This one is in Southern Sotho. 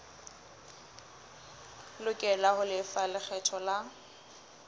lokela ho lefa lekgetho la